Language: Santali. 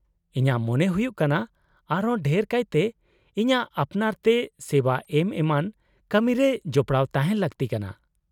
-ᱤᱧᱟᱹᱜ ᱢᱚᱱᱮ ᱦᱩᱭᱩᱜ ᱠᱟᱱᱟ ᱟᱨᱦᱚᱸ ᱰᱷᱮᱨ ᱠᱟᱭᱛᱮ ᱤᱧᱟᱹᱜ ᱟᱯᱱᱟᱨ ᱛᱮ ᱥᱮᱵᱟ ᱮᱢ ᱮᱢᱟᱱ ᱠᱟᱢᱤᱨᱮ ᱡᱚᱯᱲᱟᱣ ᱛᱟᱦᱮᱱ ᱞᱟᱹᱠᱛᱤ ᱠᱟᱱᱟ ᱾